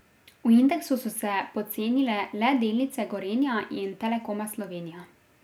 V indeksu so se pocenile le delnice Gorenja in Telekoma Slovenija.